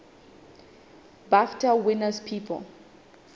bafta winners people